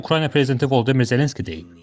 Bunu Ukrayna prezidenti Vladimir Zelenski deyib.